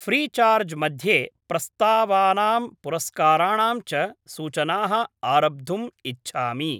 Freecharge मध्ये प्रस्तावानां पुरस्काराणां च सूचनाः आरब्धुम् इच्छामि।